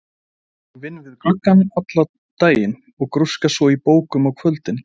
Ég vinn við gluggana allan daginn og grúska svo í bókum á kvöldin.